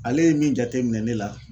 Ale ye min jateminɛ ne la.